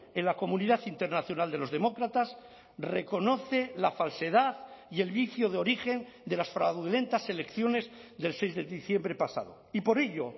en la comunidad internacional de los demócratas reconoce la falsedad y el vicio de origen de las fraudulentas elecciones del seis de diciembre pasado y por ello